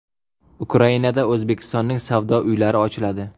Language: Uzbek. Ukrainada O‘zbekistonning savdo uylari ochiladi.